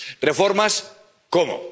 ¿Reformas cómo?